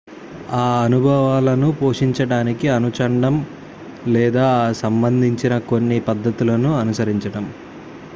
ఆ అనుభవాలను పోషించడానికి అనుచండం లేదా ఆ సంబందించిన కొన్ని పద్ధతులను అనుసరించడం